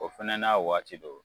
O fɛnɛ n'a waati don